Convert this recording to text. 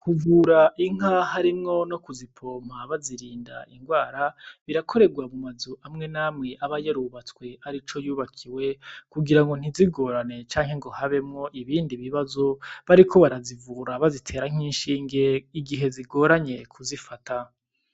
Kuvura inka harimwo no ku zipompa bazirinda ingwara birakorerwa mu mazu amwe namwe aba yarubatswe arico yubakiwe kugira ngo ntizigorane canke habemwo ibindi bibazo bariko barazivura canke bazitera nk'ishinge igihe zigoranye kuzifata